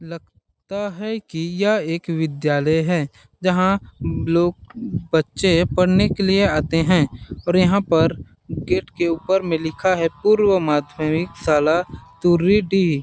लगता है कि यह एक विद्यालय है जहाँ लोग बच्चे पढ़ने के लिए आते हैं और यहाँ पर गेट के ऊपर में लिखा है पूर्व माध्यमिक शाला तुरी डी --